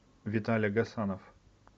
виталя гасанов